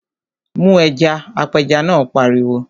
Mu ẹja! Apẹja náà pariwo.